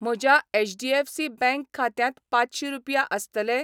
म्हज्या HDFC bank खात्यांत पांचशी रुपया आसतले ?